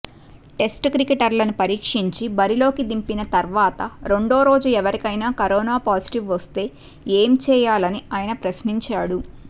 test క్రికెటర్లను పరీక్షించి బరిలోకి దింపిన తర్వాత రెండోరోజు ఎవరికైనా కరోనా పాజిటివ్ వస్తే ఏం చేయాలని ఆయన ప్రశ్నించాడు